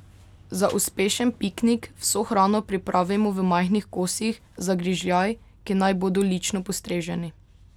Za uspešen piknik vso hrano pripravimo v majhnih kosih, za grižljaj, ki naj bodo lično postreženi.